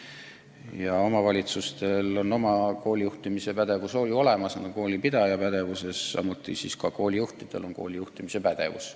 Ja omavalitsustel on oma kooli juhtimise pädevus olemas, samuti on koolijuhtidel kooli juhtimise pädevus.